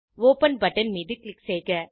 open button மீது click செய்க